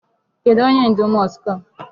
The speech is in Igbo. Kedụ onye ndu mosque a?